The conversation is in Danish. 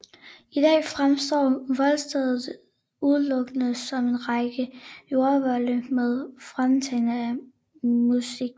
I dag fremstår voldstedet udelukkende som en række jordvolde med fragmenter af munkesten